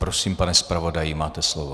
Prosím, pane zpravodaji, máte slovo.